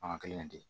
Fanga kelen de bɛ yen